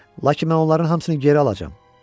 Lakin mən onların hamısını geri alacam.